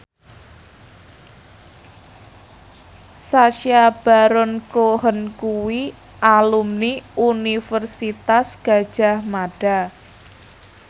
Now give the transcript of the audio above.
Sacha Baron Cohen kuwi alumni Universitas Gadjah Mada